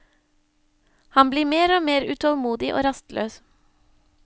Han blir mer og mer utålmodig og rastløs.